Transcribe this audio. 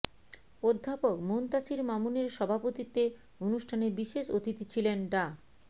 অধ্যাপক মুনতাসির মামুনের সভাপতিত্বে অনুষ্ঠানে বিশেষ অতিথি ছিলেন ডা